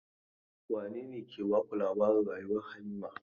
Wane ne ke baku labarin rayuwar Habiba?